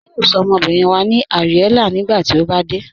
A yóò sọ̀ ọmọbìrín wa ní Ariella nígbàtí o bá dẹ̀.